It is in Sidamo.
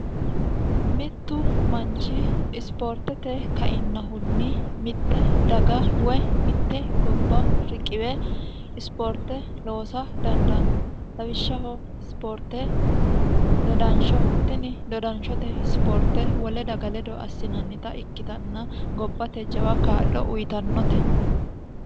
mittu manchi isipoortete kainnahunni mitte daga woy mitte gobba riqiwe ispoorte loosa dandaanno lawishshaho ispoorte dodansho tini dodanshote isipoorte wole daga ledo assinannita ikkitanna gobbate jawa kaa'lo uyitannote